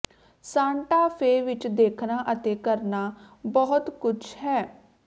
Santa Fe ਵਿਚ ਦੇਖਣਾ ਅਤੇ ਕਰਨਾ ਬਹੁਤ ਕੁਝ ਹੈ